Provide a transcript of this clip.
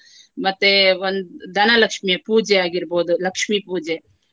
ಮತ್ತೆ ಒಂದ್~ ಧನಲಕ್ಷ್ಮಿಯ ಪೂಜೆ ಆಗಿರ್ಬಹುದು. ಲಕ್ಷ್ಮಿ ಪೂಜೆ.